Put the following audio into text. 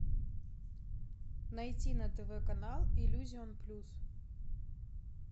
найти на тв канал иллюзион плюс